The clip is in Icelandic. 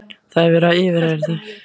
Það er verið að yfirheyra þau.